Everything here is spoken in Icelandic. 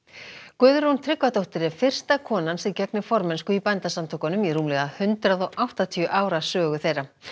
Guðrún Tryggvadóttir er fyrsta konan sem gegnir formennsku í Bændasamtökunum í rúmlega hundrað og áttatíu ára sögu þeirra